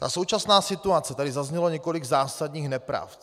Ta současná situace, tady zaznělo několik zásadních nepravd.